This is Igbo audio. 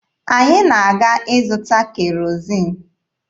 Anyị na-aga ịzụta kerozin.